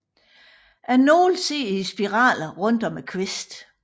Nålene sidder i spiraler rundt om kvisten